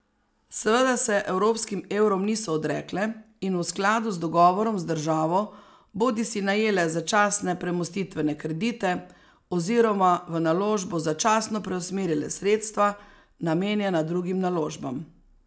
Seveda se evropskim evrom niso odrekle in v skladu z dogovorom z državo bodisi najele začasne premostitvene kredite oziroma v naložbo začasno preusmerile sredstva, namenjena drugim naložbam.